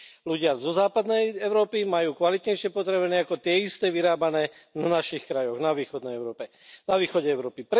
Ľudia zo západnej Európy majú kvalitnejšie potraviny ako tie isté vyrábané v našich krajoch vo východnej Európe, na východe Európy.